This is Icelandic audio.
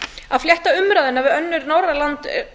að flétta umræðuna við önnur norræn lönd er